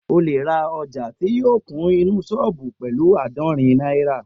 O lè ra ọjà ti o kun inú sọ́ọ̀bù pẹ̀lu àádọ́rin náírà